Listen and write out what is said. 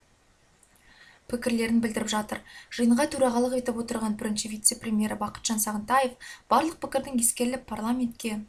пікірлерін білдіріп жатыр жиынға төрағалық етіп отырған бірінші вице-премьері бақытжан сағынтаев барлық пікірдің ескеріліп парламентке